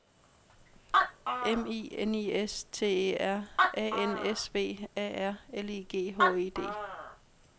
M I N I S T E R A N S V A R L I G H E D